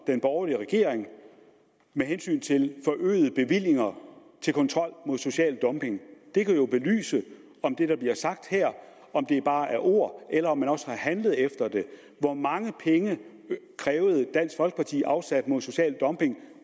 den borgerlige regering med hensyn til forøgede bevillinger til kontrol mod social dumping det kan jo belyse om det der bliver sagt her bare er ord eller om man også har handlet efter det hvor mange penge krævede dansk folkeparti afsat mod social dumping